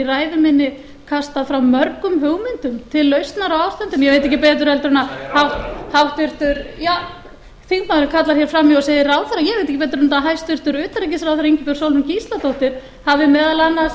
ræðu minni kastað fram mörgum hugmyndum til lausnar á ástandinu ég veit ekki betur en að háttvirtur ja þingmaðurinn kallar hér fram í og segir ráðherra ég veit ekki betur en hæstvirtur utanríkisráðherra ingibjörg sólrún gísladóttir hafi meðal annars